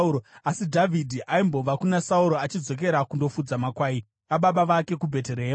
Asi Dhavhidhi aimbobva kuna Sauro achidzokera kundofudza makwai ababa vake kuBheterehema.